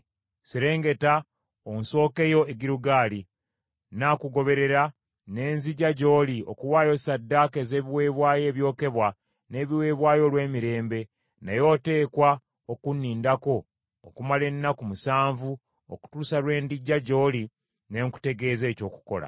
“Serengeta onsookeyo e Girugaali . Nnaakugoberera ne nzija gy’oli okuwaayo ssaddaaka ez’ebiweebwayo ebyokebwa n’ebiweebwayo olw’emirembe, naye oteekwa okunnindako okumala ennaku musanvu okutuusa lwe ndijja gy’oli ne nkutegeeza eky’okukola.”